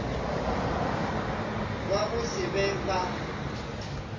ba go se be ba